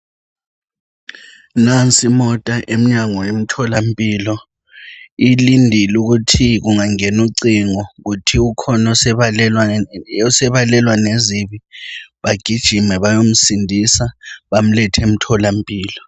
Nansi imota emnyango womtholampilo. Ilindile ukuthi kungangena ucingo , kuthiwa ukhona osebalelwa lezibi. Bagijime bayemsindisa. Bamlethe, emtholampilo.